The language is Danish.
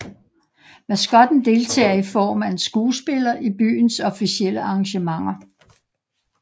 Maskotten deltager i form af en skuespiller i byens officielle arrangementer